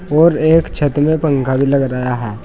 और एक छत में पंखा भी लग रहा है।